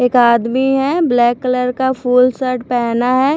एक आदमी है ब्लैक कलर का फूल शर्ट पहना है।